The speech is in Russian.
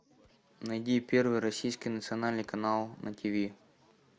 найди первый российский национальный канал на тв